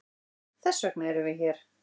Þessvegna eru við hér.